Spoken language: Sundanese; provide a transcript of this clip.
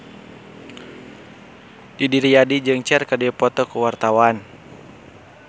Didi Riyadi jeung Cher keur dipoto ku wartawan